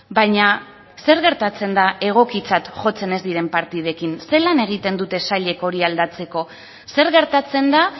baina zer gertatzen da egokitzat jotzen ez diren partidekin ze lan egiten dute sailek hori aldatzeko zer gertatzen da